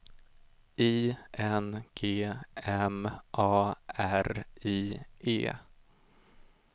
I N G M A R I E